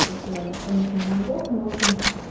в состояние остальных моих зубов ну в общем